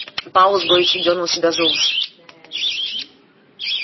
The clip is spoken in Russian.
пауэлл с горечью дёрнул себя за ус